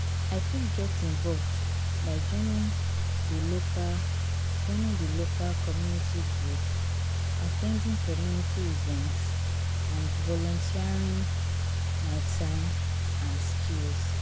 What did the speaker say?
i fit get involved by joining di local, joining the local community group, at ten ding community events and volunteering my time and skills.